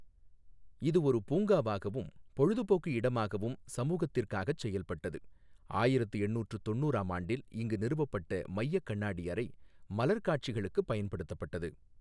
இது ஒரு பூங்காவாகவும் பொழுதுபோக்கு இடமாகவும் சமூகத்திற்காகச் செயல்பட்டது, ஆயிரத்து எண்ணூற்று தொண்ணுறாம் ஆண்டில் இங்கு நிறுவப்பட்ட மையக் கண்ணாடி அறை மலர் காட்சிகளுக்குப் பயன்படுத்தப்பட்டது.